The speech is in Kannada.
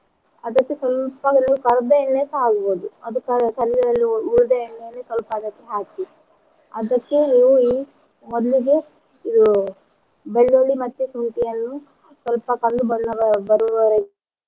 ಅದಕ್ಕೆ ಒಂದು ಸಲ್ಪ ಒಂದ್ ಕರ್ದ ಎಣ್ಣೆ ಸಾ ಹಾಕ್ಬೋದು ಅದು ಕರ್~ ಕರ್ದ ಉಳಿದ ಎಣ್ಣೆಯನ್ನ ಸಲ್ಪ ಅದಕ್ಕೆ ಹಾಕಿ ಅದಕ್ಕೆ ಮೊದ್ಲಿಗೆ ಇದು ಬೆಳ್ಳುಳ್ಳಿ ಮತ್ತೆ ಶುಂಠಿಯನ್ನು ಸಲ್ಪ ಕಂದು ಬಣ್ಣ ಬ್~ ಬರುವವರೆಗೆ